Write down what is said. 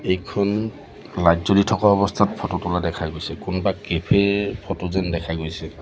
এইখন লাইট জ্বলি থকা অৱস্থাত ফটো তোলা দেখা গৈছে কোনবা কেফে -- ফটো যেন দেখা গৈছে।